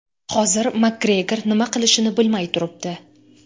Hozir Makgregor nima qilishini bilmay turibdi.